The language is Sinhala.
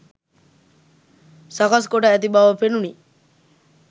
සකස් කොට ඇති බව පෙනුනි.